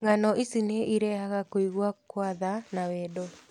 Ng'ano ici nĩ irehaga kũigua kwa tha na wendo.